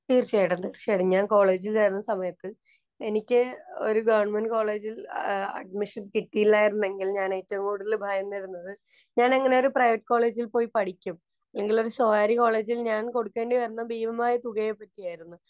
തീര്‍ച്ചയായിട്ടും, തീര്‍ച്ചയായിട്ടും. ഞാന്‍ കോളേജില്‍ ആയിരുന്ന സമയത്ത് എനിക്ക് ഒരു ഗവണ്മെന്‍റ് കോളേജില്‍ അഡ്മിഷന്‍ കിട്ടിയില്ലായിരുന്നെങ്കില്‍ ഞാന്‍ ഏറ്റവും കൂടുതല്‍ ഭയന്നിരുന്നത് ഞാനെങ്ങനെ ഒരു പ്രൈവറ്റ് കോളേജില്‍ പോയി പഠിക്കും? ഇല്ലെങ്കില്‍ സ്വകാര്യ കോളേജില്‍ ഞാന്‍ കൊടുക്കേണ്ടി വരുന്ന ഭീമമായ തുകയെ പറ്റിയായിരുന്നു.